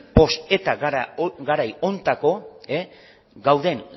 post eta garai honetako gauden